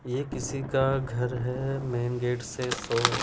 ये किसी का घर है मेन गेट से सो --